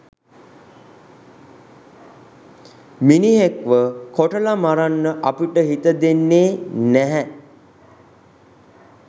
මිනිහෙක්ව කොටලා මරන්න අපිට හිත දෙන්නේ නැහැ.